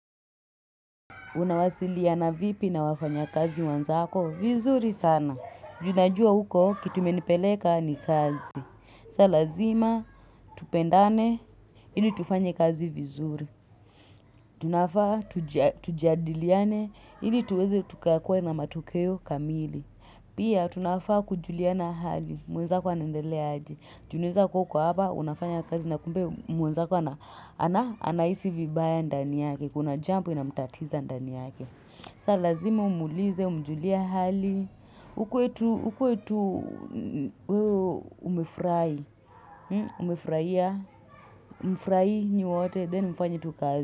Unawasiliana vipi na wafanyakazi wenzako? Vizuri sana. Juu najua huko kitu imenipeleka ni kazi. Saa lazima tupendane ili tufanye kazi vizuri. Tunafaa tujadiliane ili tuweze tukakuwe na matokeo kamili. Pia tunafaa kujuliana hali mwenzako anaendelea aje. Tunaweza kuwa uko hapa unafanya kazi na kumbe mwenzako anahisi vibaya ndani yake. Kuna jambo inamtatiza ndani yake. Sa lazima umwulize, umjulie hali, ukuwe tu wewe umefurahi, umefurahia, mfurahie nyi wote, then mfanye tu kazi.